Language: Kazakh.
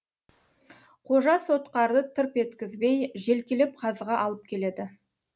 қожа сотқарды тырп еткізбей желкелеп қазыға алып келеді